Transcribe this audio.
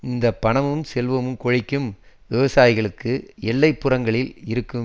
இந்த பணமும் செல்வம் கொழிக்கும் விவசாயிகளுக்கு எல்லை புறங்களில் இருக்கும்